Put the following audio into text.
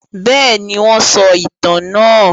Bẹ́ẹ̀ni, wọ́n sọ ìtàn náà.